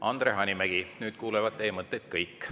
Andre Hanimägi, nüüd kuulevad teie mõtteid kõik.